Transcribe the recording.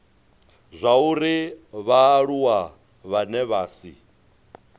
zwauri vhaaluwa vhane vha si